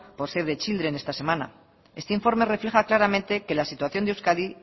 por save the children esta semana este informe refleja claramente que la situación de euskadi